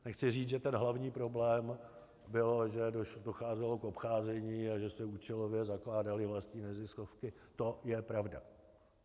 Chci říct, že ten hlavní problém bylo, že docházelo k obcházení a že se účelově zakládaly vlastní neziskovky, to je pravda.